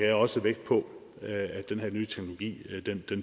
jeg også vægt på at den her nye teknologi